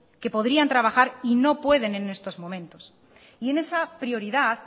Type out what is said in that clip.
que podrían trabajar y no pueden en estos momentos y en esa prioridad